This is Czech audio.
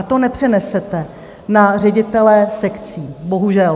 A to nepřenesete na ředitele sekcí, bohužel.